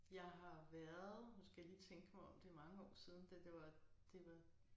Jeg har været nu skal jeg lige tænke mig om det mange år siden da det var det var